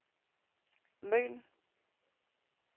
Møn